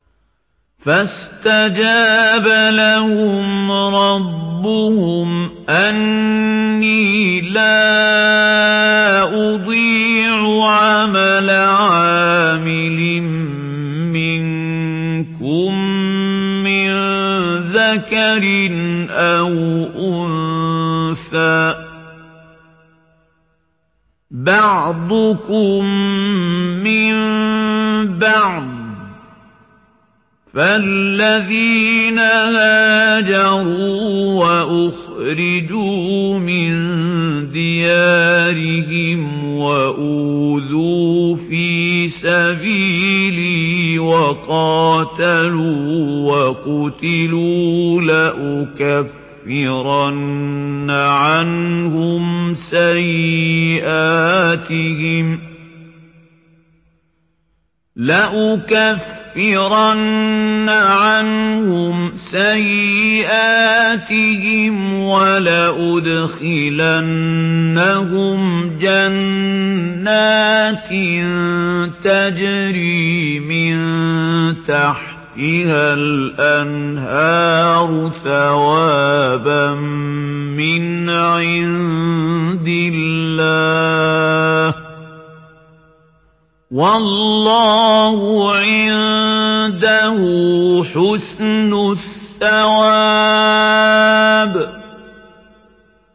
فَاسْتَجَابَ لَهُمْ رَبُّهُمْ أَنِّي لَا أُضِيعُ عَمَلَ عَامِلٍ مِّنكُم مِّن ذَكَرٍ أَوْ أُنثَىٰ ۖ بَعْضُكُم مِّن بَعْضٍ ۖ فَالَّذِينَ هَاجَرُوا وَأُخْرِجُوا مِن دِيَارِهِمْ وَأُوذُوا فِي سَبِيلِي وَقَاتَلُوا وَقُتِلُوا لَأُكَفِّرَنَّ عَنْهُمْ سَيِّئَاتِهِمْ وَلَأُدْخِلَنَّهُمْ جَنَّاتٍ تَجْرِي مِن تَحْتِهَا الْأَنْهَارُ ثَوَابًا مِّنْ عِندِ اللَّهِ ۗ وَاللَّهُ عِندَهُ حُسْنُ الثَّوَابِ